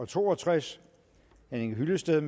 to og tres henning hyllested